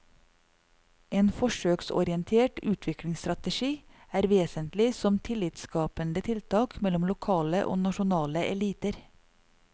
En forsøksorientert utviklingsstrategi er vesentlig som tillitsskapende tiltak mellom lokale og nasjonale eliter.